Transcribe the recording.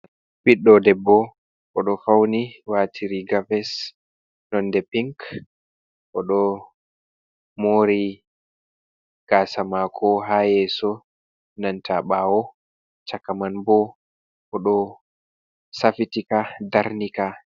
Ɓiɗɗo debbo, o ɗo fawni waati riiga ves nonde pink, o ɗo moori gaasa maako, ha yeeso nanta ɓaawo chaka man bo o ɗo safiti ka, darni ka.